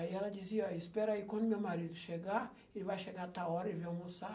Aí ela dizia, espera aí, quando meu marido chegar, ele vai chegar tal hora, ele vem almoçar,